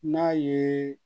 N'a ye